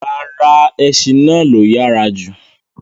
Ràrà, ẹṣin náà ló yára jù